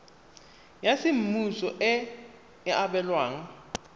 ya semmuso e e abelwang